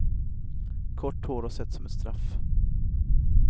Kort hår har sett som ett straff.